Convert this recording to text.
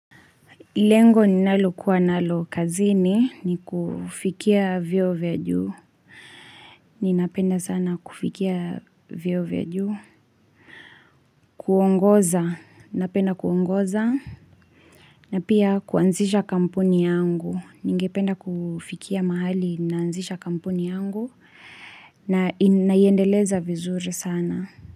Lengo ni nalokuwa nalo kazini ni kufikia vieo vya juu. Ni napenda sana kufikia vieo vya juu. Kuongoza. Napenda kuongoza. Na pia kuanzisha kamponi yangu. Ni ngependa kufikia mahali naanzisha kampuni yangu. Naiendeleza vizuri sana.